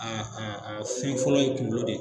Aa a a fɛn fɔlɔ ye kuŋolo de